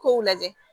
K'o lajɛ